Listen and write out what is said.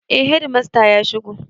Eh hedimasta ya shigo.